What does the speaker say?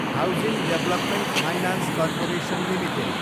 housing development finance corporation Ltd